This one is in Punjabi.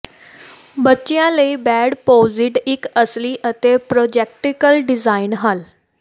ਬੱਚਿਆਂ ਲਈ ਬੈਡ ਪੋਜੀਡ ਇੱਕ ਅਸਲੀ ਅਤੇ ਪ੍ਰੈਕਟੀਕਲ ਡਿਜ਼ਾਈਨ ਹੱਲ